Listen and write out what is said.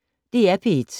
DR P1